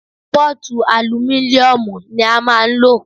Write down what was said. Pọ́ọ̀tu alumíníùmù ní a máà ń lò.